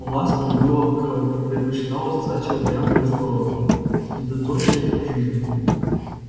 ласка любила кровь и предпочитала сосать её прямо из горла средоточия жизни